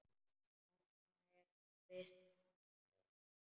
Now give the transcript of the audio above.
Þarna er visst flæði.